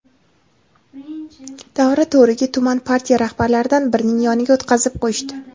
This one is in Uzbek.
davra to‘riga – tuman partiya rahbarlaridan birining yoniga o‘tqazib qo‘yishdi.